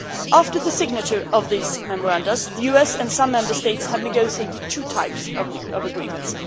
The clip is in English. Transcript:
After the signature of these memoranda, the US and some Member States have negotiated two types of agreements.